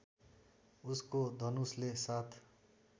उसको धनुषले साथ